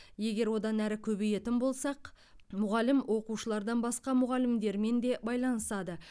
егер одан әрі көбейетін болсақ мұғалім оқушылардан басқа мұғалімдермен де байланысады